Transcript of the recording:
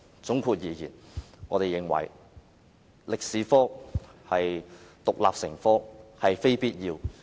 總括而言，中史科獨立成科並非必要。